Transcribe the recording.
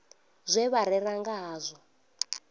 zwe vha rera nga hazwo